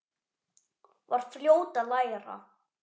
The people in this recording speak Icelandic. Var fljót að læra.